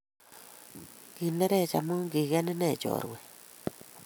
Kinerech amu kiken ine chorwet